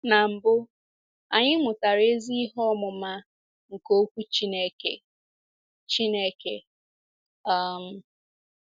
Na mbụ, anyị mụtara ezi ihe ọmụma nke Okwu Chineke. Chineke. um